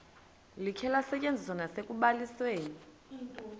likhe lisetyenziswe nasekubalisweni